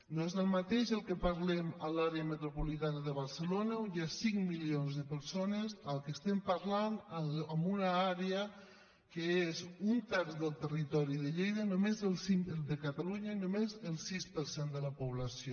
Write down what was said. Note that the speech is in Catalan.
no és el mateix el que parlem a l’àrea metropolitana de barcelona on hi ha cinc milions de persones que el que estem parlant en una àrea que és un terç del territori de catalunya i amb només el sis per cent de la població